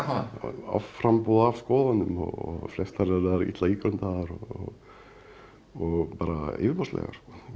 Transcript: offramboð af skoðunum og flestar þeirra eru illa ígrundaðar og bara yfirborðslegar